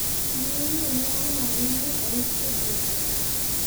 Yier wiye ne ong'adi mi owiti e dier ot.